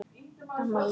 Amma líka.